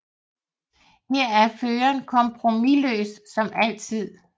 Her er Føreren kompromisløs som altid